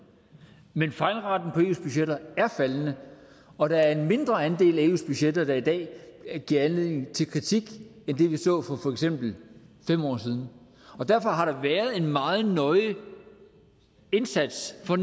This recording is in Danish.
men fejlraten i eus budgetter er faldende og der er en mindre andel af eus budgetter der i dag giver anledning til kritik end det vi så for for eksempel fem år siden derfor har der været en meget nøje indsats for